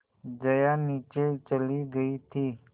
जया नीचे चली गई थी